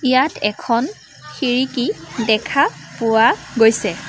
ইয়াত এখন খিৰিকী দেখা পোৱা গৈছে।